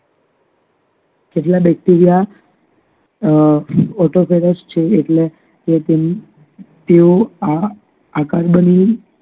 કેટલાક Bacteria અમ તેઓ આ આકાર બનાવી